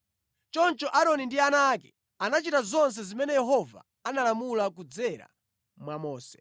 Choncho Aaroni ndi ana ake anachita zonse zimene Yehova analamula kudzera mwa Mose.